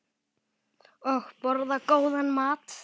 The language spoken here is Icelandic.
Og borða góðan mat.